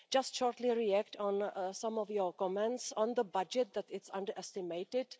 I just want to briefly react on some of your comments on the budget that it's underestimated.